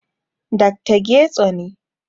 Dr. Getso ne